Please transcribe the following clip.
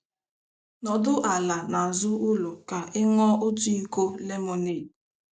Nọdụ ala nazụ ụlọ ka i nuo otu iko lemonade.